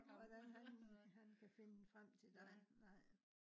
hvordan han han kan finde frem til dig nej